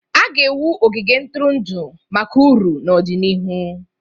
A ga-ewu ogige ntụrụndụ maka uru n'ọdịnihu.